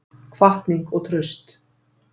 Hvatning og traust